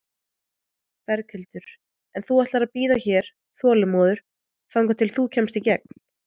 Berghildur: En þú ætlar að bíða hér, þolinmóður, þangað til þú kemst í gegn?